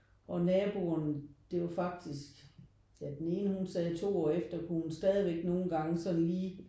Og naboen det er jo faktisk ja den ene hun sagde 2 år efter kunne hun stadigvæk nogle gange sådan lige